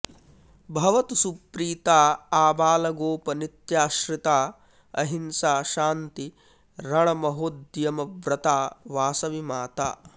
भवतु सुप्रीता आबालगोप नित्याश्रिता अहिंसा शान्ति रणमहोद्यमव्रता वासवि माता